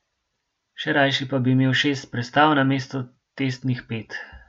Še rajši pa bi imeli šest prestav namesto testnih pet.